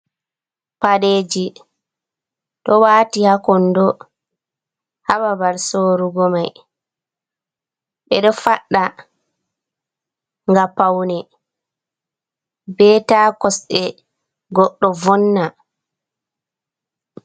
Paɗeeji ɗo waati haa kondo haa babal sorugo mai. Ɓeɗo faɗɗa ga paune, be ta kosɗe goɗɗo vonna.